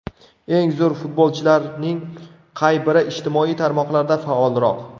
Eng zo‘r futbolchilarning qay biri ijtimoiy tarmoqlarda faolroq?